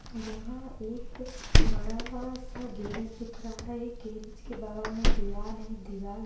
यहाँ एक बड़ा सा गैरेज दिख रहा है गैरेज के बगल में दिवार है दिवार--